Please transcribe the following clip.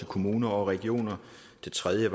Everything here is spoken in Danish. kommuner og regioner det tredje